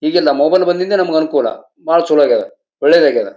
ಈಗೆಲ್ಲ ಮೊಬೈಲ್ ಬಂದಿದ್ದೆ ನಮಗೆ ಅನುಕೂಲ ಬಹಳ ಚಲೋ ಆಗಿದೆ ಒಳ್ಳೇದಾಗಿದೆ.